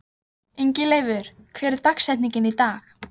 Ingileifur, hver er dagsetningin í dag?